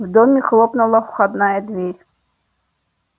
в доме хлопнула входная дверь